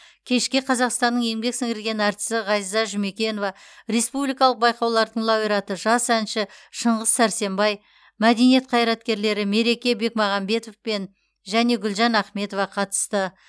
кешке қазақстанның еңбегі сіңірген әртісі ғазиза жұмекенова республикалық байқаулардың лауреаты жас әнші шыңғыс сәрсенбай мәдениет қайраткерлері мереке бекмағамбетов пен және гүлжан ахметова қатысты